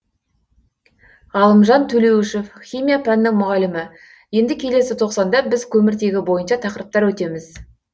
ғалымжан төлеуішев химия пәнінің мұғалімі енді келесі тоқсанда біз көміртегі бойынша тақырыптар өтеміз